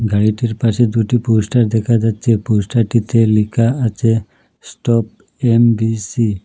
গাড়িটির পাশে দুটি পোস্টার দেখা যাচ্ছে পোস্টারটিতে লিখা আছে স্টপ এম_বি_সি ।